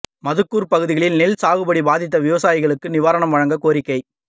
மதுக்கூா் பகுதிகளில் நெல் சாகுபடி பாதித்த விவசாயிகளுக்கு நிவாரணம் வழங்கக் கோரிக்கை